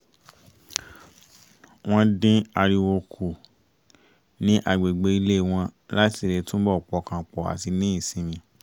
wọ́n dín ariwo kù ní agbègbè ilé wọn láti lè túbọ̀ pọkàn pọ̀ àti ní ìsinmi